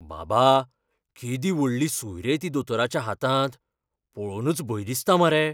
बाबा, केदी व्हडली सूय रे ती दोतोराच्या हातांत! पळोवनच भंय दिसता मरे.